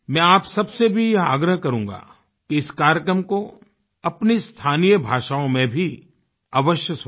मैं आप सबसे भी यह आग्रह करूँगा कि इस कार्यक्रम को अपनी स्थानीय भाषाओं में भी अवश्य सुनें